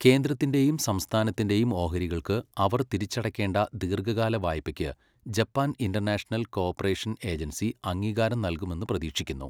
കേന്ദ്രത്തിൻ്റെയും സംസ്ഥാനത്തിൻ്റെയും ഓഹരികൾക്ക് അവർ തിരിച്ചടക്കേണ്ട ദീർഘകാല വായ്പയ്ക്ക് Japan international cooperation agency അംഗീകാരം നൽകുമെന്ന് പ്രതീക്ഷിക്കുന്നു.